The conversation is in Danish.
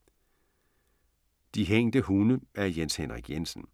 De hængte hunde af Jens Henrik Jensen